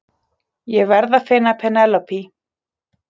Ég verð að finna Penélope!